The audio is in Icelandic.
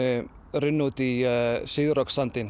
runnu út í